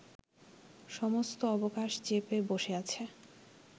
সমস্ত অবকাশ চেপে বসে আছে